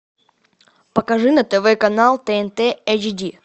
покажи на тв канал тнт эйч ди